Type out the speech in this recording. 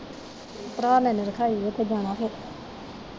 ਭਰਾ ਮੇਰੇ ਨੇ ਰੱਖਾਈ, ਉੱਥੇ ਜਾਣਾ ਫਿਰ।